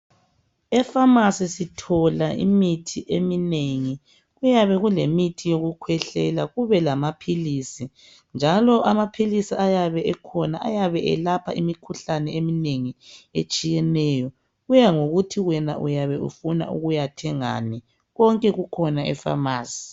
Efamasi sithola imithi eminengi, kuyabe kulemithi yokukhwehlela kubelamaphilisi njalo amaphilisi ayabe ekhona ayabe elapha imikhuhlane eminengi etshiyeneyo. Kuyangokuthi wena uyabe ufuna ukuyathengani. Konke kukhona efamasi.